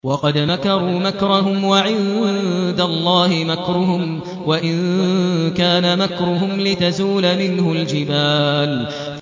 وَقَدْ مَكَرُوا مَكْرَهُمْ وَعِندَ اللَّهِ مَكْرُهُمْ وَإِن كَانَ مَكْرُهُمْ لِتَزُولَ مِنْهُ الْجِبَالُ